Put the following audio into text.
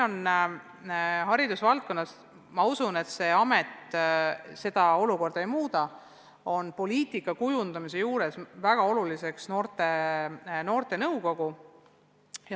Haridusvaldkonnas on olnud – ja ma usun, et uus amet seda olukorda ei muuda – poliitika kujundamisel väga oluline ühendus noorte nõukogu.